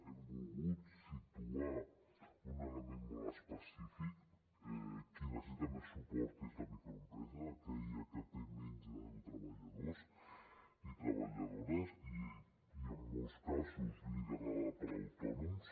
hem volgut situar un element molt específic qui necessita més suport és la microempresa aquella que té menys de deu treballadors i treballadores i en molts casos liderada per autònoms